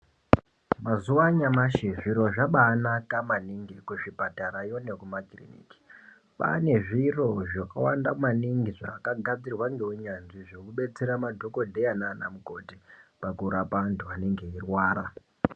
Mazuwa anyamashi zviro zvabanaka maningi kuzvipatara yoo